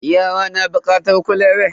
Yara na bukatar kulawa.